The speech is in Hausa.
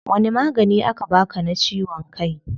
Wani magani aka baa ka na ciwon kai?